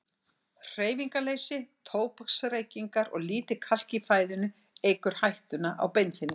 Hreyfingarleysi, tóbaksreykingar og lítið kalk í fæðunni eykur hættuna á beinþynningu.